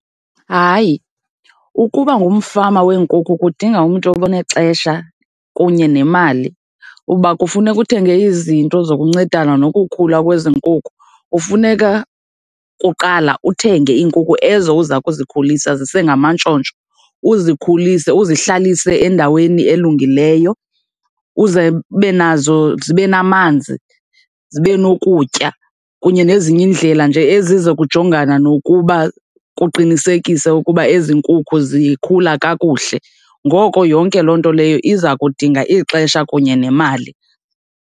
Hayi, ukuba ngumfama weenkukhu kudinga umntu onexesha kunye nemali, uba kufuneka uthenge izinto zokuncedana nokukhula kwezi nkukhu. Kufuneka, kuqala, uthenge iinkukhu ezo uza kuzikhulisa, zisengamantshontsho, uzikhulise, uzihlalise endaweni elungileyo uze ube nazo zibe namanzi, zibe nokutya kunye nezinye iindlela nje ezizokujongana nokuba kuqinisekiswe ukuba ezi nkukhu zikhula kakuhle. Ngoko yonke loo nto leyo iza kudinga ixesha kunye nemali.